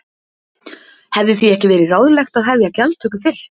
Hefði því ekki verið ráðlegt að hefja gjaldtöku fyrr?